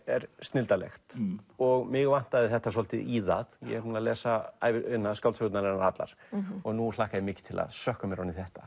er snilldarlegt og mig vantaði þetta svolítið í það ég er búinn að lesa skáldsögurnar hennar allar nú hlakka ég mikið til að sökkva mér ofan í þetta